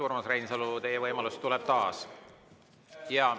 Urmas Reinsalu, teie võimalus tuleb taas.